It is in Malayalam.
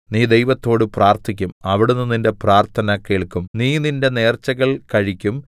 നീ ദൈവത്തോട് പ്രാർത്ഥിക്കും അവിടുന്ന് നിന്റെ പ്രാർത്ഥന കേൾക്കും നീ നിന്റെ നേർച്ചകൾ കഴിക്കും